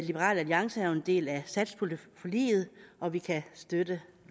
liberal alliance er jo en del af satspuljeforliget og vi kan støtte